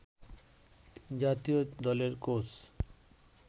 জাতীয় দলের কোচ